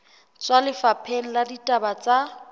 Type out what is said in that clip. tswa lefapheng la ditaba tsa